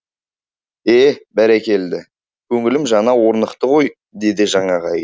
е бәрекелді көңілім жаңа орнықты ғой деді жаңағы әйел